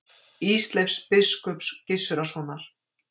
Ísleifs biskups Gizurarsonar.